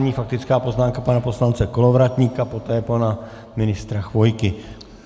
Nyní faktická poznámka pana poslance Kolovratníka, potom pana ministra Chvojky.